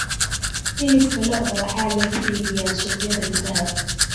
Hilibka lo'da waxaa lagu iibiyaa suuqyada gudaha.